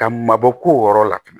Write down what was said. Ka mabɔ ko wɔɔrɔ la